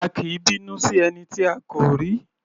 A kì í bínú sí ẹni tí a kò rí.